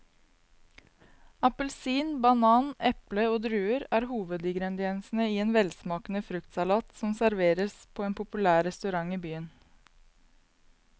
Appelsin, banan, eple og druer er hovedingredienser i en velsmakende fruktsalat som serveres på en populær restaurant i byen.